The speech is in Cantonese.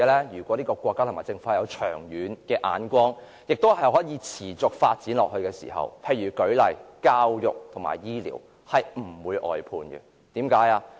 如果國家和政府具長遠眼光，並且能夠持續發展的話，教育和醫療等範疇便不會出現外判的情況。